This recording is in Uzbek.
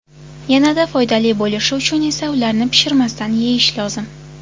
Yanada foydali bo‘lishi uchun esa ularni pishirmasdan yeyish lozim.